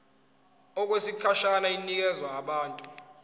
okwesikhashana inikezwa abantu